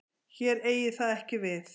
Hér eigi það ekki við.